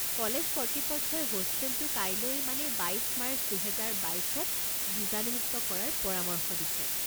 College কৰ্তৃপক্ষই হোষ্টেলটো কাইলৈ মানে বাইছ মাৰ্চ দুহেজাৰ বাইছত বিজানুমুক্ত কৰাৰ পৰামৰ্শ দিছে।